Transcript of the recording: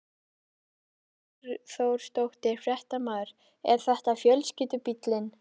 Sunna Karen Sigurþórsdóttir, fréttamaður: Er þetta fjölskyldubíllinn?